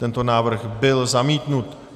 Tento návrh byl zamítnut.